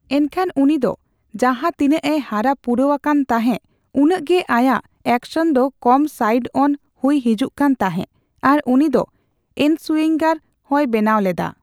ᱮᱱᱠᱷᱟᱱ, ᱩᱱᱤ ᱫᱚ ᱡᱟᱸᱦᱟ ᱛᱤᱱᱟᱜᱼᱮ ᱦᱟᱨᱟ ᱯᱩᱨᱟᱣ ᱟᱠᱟᱱ ᱛᱟᱸᱦᱮ, ᱩᱱᱟᱜ ᱜᱮ ᱟᱭᱟᱜ ᱮᱠᱥᱚᱱ ᱫᱚ ᱠᱚᱢ ᱥᱟᱭᱤᱰᱼᱚᱱ ᱦᱩᱭ ᱦᱤᱡᱩᱜ ᱠᱟᱱ ᱛᱟᱸᱦᱮ ᱟᱨ ᱩᱱᱤ ᱫᱚ ᱤᱱᱥᱩᱭᱤᱝᱜᱟᱨ ᱦᱚᱸᱭ ᱵᱮᱱᱟᱣ ᱞᱮᱫᱟ ᱾